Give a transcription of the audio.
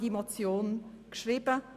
Dies ist ein pragmatischer Vorschlag.